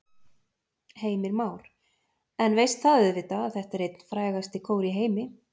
Heimir Már: En veist það auðvitað að þetta er einn frægasti kór í heimi?